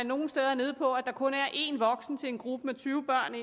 nogle steder er nede på at der kun er en voksen til en gruppe med tyve børn